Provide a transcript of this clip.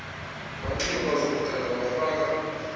wanxiba ezokudada wafaka